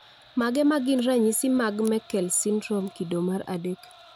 Mage magin ranyisi mag Meckel syndrome kido mar adek